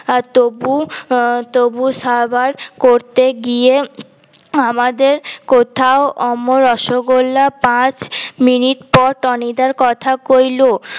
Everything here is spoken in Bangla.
তবু তবু সাবার করতে গিয়ে আমাদের কোথাও অমন রসগোল্লা পাঁচ মিনিট পর টনি দার কথা কইল